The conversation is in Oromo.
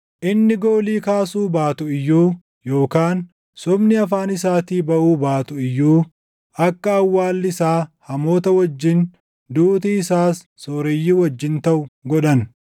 Inni goolii kaasuu baatu iyyuu, yookaan sobni afaan isaatii baʼuu baatu iyyuu akka awwaalli isaa hamoota wajjin duuti isaas sooreyyii wajjin taʼu godhan.